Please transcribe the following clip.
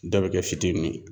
Dɔ bɛ kɛ fitinin ye